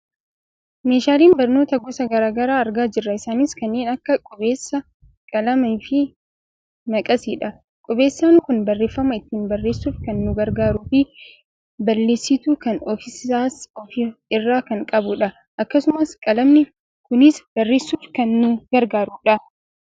Meeshaalee barnootaa gosa gara garaa argaa jirra. Isaanis kanneen akka qubeessaa, qalamafi maqasiidha. Qubeessaan kun barreefama ittiin barreessuuf kan nu gargaaruufi balleesituu kan ofiisaas of irraa kan qabudha. Akkasumas qalamni kunis barreessuuf kan nu gargaarudha.